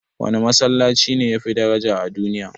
Wane Masallaci ne yafi daraja a duniya?